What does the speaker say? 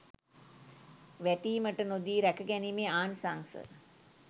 වැටීමට නොදී රැකගැනීමේ ආනිසංශ